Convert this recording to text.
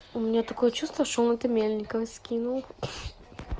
у меня такое чувство что он это мельниковой скинул